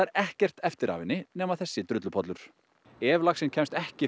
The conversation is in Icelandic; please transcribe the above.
ekkert eftir af henni nema þessi drullupollur ef laxinn kemst ekki